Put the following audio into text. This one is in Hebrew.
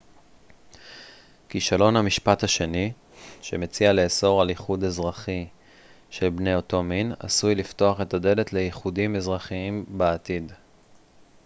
כישלון המשפט השני שמציע לאסור על איחוד אזרחי של בני אותו מין עשוי לפתוח את הדלת לאיחודים אזרחיים בעתיד